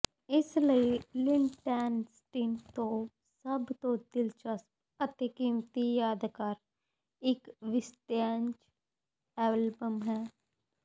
ਇਸ ਲਈ ਲਿੱਨਟੇਨਸਟੀਨ ਤੋਂ ਸਭ ਤੋਂ ਦਿਲਚਸਪ ਅਤੇ ਕੀਮਤੀ ਯਾਦਗਾਰ ਇੱਕ ਵਿੰਸਟੇਜ ਐਲਬਮ ਹੈ